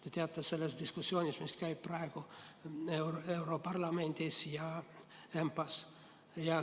Te teate sellest diskussioonist, mis käib praegu europarlamendis ja ENPA-s.